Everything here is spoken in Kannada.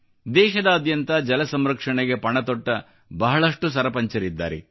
ದೇಶದಾದ್ಯಂತ ಜಲ ಸಂರಕ್ಷಣೆಗೆ ಪಣ ತೊಟ್ಟ ಬಹಳಷ್ಟು ಜನ ಸರಪಂಚರಿದ್ದಾರೆ